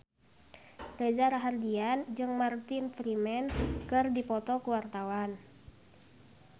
Reza Rahardian jeung Martin Freeman keur dipoto ku wartawan